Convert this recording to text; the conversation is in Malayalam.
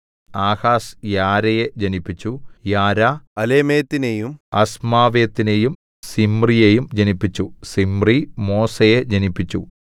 ആഹാസ് യാരയെ ജനിപ്പിച്ചു യാരാ അലേമെത്തിനെയും അസ്മാവെത്തിനെയും സിമ്രിയെയും ജനിപ്പിച്ചു സിമ്രി മോസയെ ജനിപ്പിച്ചു